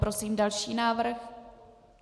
Prosím další návrh.